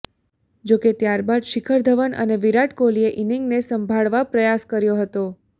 જો કે ત્યારબાદ શિખર ધવન અને વિરાટ કોહલીએ ઈનીંગને સંભાળવા પ્રયાસ કર્યો હતો